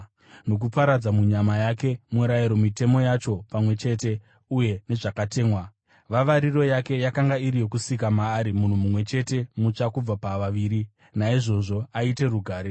nokuparadza munyama yake murayiro, mitemo yacho pamwe chete uye nezvakatemwa. Vavariro yake yakanga iri yokusika maari munhu mumwe chete mutsva kubva pavaviri, naizvozvo aite rugare,